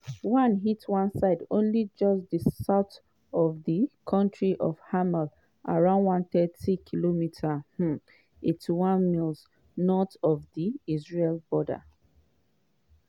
one hit one site only just south of di town of hermel around 130km um (81 miles) north of di israeli border.